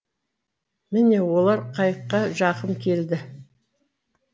міне олар қайыққа жақын келді